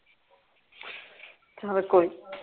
ਚੱਲ ਕੋਈ ਨਹੀਂ